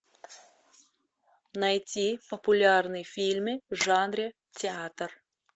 найти популярные фильмы в жанре театр